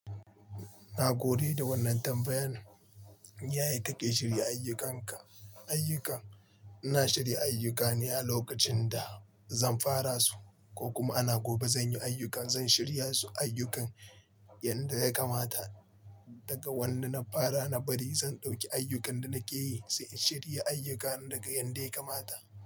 Na gode da wannan tambayan. Yaya kake shirya ayyukanka, ayyuka? Ina shirya ayyukane a lokacin da zan fara su ko kuma ana gobe zan yi ayyuka, zan shirya su ayyukan yanda ya kamata. Daga wanda na fara, na bari zan ɗauki ayyukan da nake yi, sai in shirya ayyukan daga yanda ya kamata.